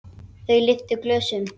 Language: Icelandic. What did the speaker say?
Þau lyftu glösum.